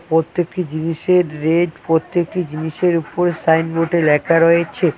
পত্যেকটি জিনিসের রেট পত্যেকটি জিনিসের উপর সাইনবোর্ডে ল্যাখা রয়েছে।